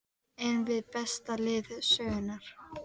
Erum við besta lið sögunnar?